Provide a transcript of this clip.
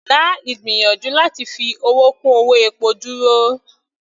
Dá ìgbìyànjú láti fi owó kún owó epo dúró.